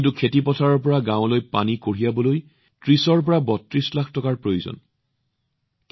কিন্তু খেতিপথাৰৰ পৰা গাৱঁলৈ পানী কঢ়িয়াবলৈ ৩০৩২ লাখ টকাৰ প্ৰয়োজন আছিল